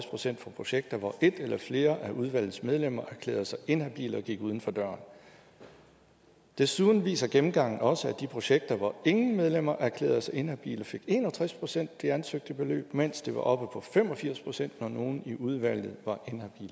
procent for projekter hvor et eller flere af udvalgets medlemmer erklærede sig inhabile og gik uden for døren desuden viser gennemgangen også at de projekter hvor ingen medlemmer erklærede sig inhabile fik en og tres procent af det ansøgte beløb mens det var oppe på fem og firs procent når nogen i udvalget var